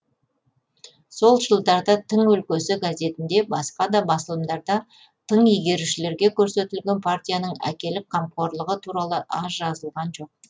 сол жылдарда тың өлкесі газетінде басқа да басылымдарда тың игерушілерге көрсетілген партияның әкелік қамқорлығы туралы аз жазылған жоқ